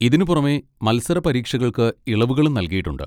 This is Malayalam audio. ഇതിനുപുറമെ, മത്സരപരീക്ഷകൾക്ക് ഇളവുകളും നൽകിയിട്ടുണ്ട്.